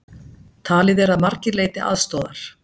Talið að margir leiti aðstoðar